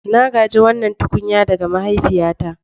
Na gaji wannan tukunya ɗaga mahaifiyata.